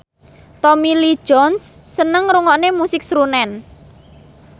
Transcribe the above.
Tommy Lee Jones seneng ngrungokne musik srunen